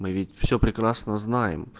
все прекрасно знаешь